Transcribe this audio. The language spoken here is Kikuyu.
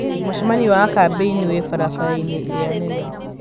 mũcemanio wa kambĩini wĩ barabara-inĩ ĩrĩa nene